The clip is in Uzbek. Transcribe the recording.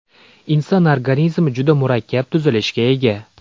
Inson organizmi juda murakkab tuzilishga ega.